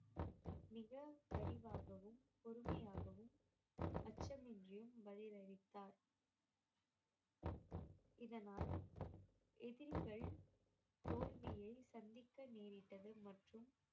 மிக விரிவாகவும் பொறுமையாகவும் அச்சமின்றியும் பதில் அளித்தார் இதனால் எதிரிகள் தோல்வியை சந்திக்க நேரிட்டது மற்றும்